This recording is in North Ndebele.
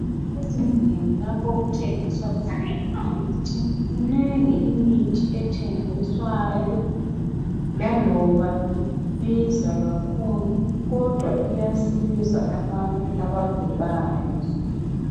Ezindlini lapho okuthengiswa khona imithi minengi imithi ethengiswayo laloba ibiza kakhulu kodwa iyasiza abantu abagulayo.